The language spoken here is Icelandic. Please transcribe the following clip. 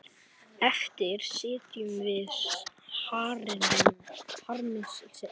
Eftir sitjum við harmi slegin.